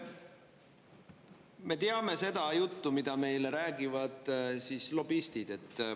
No me teame seda juttu, mida meile räägivad lobistid.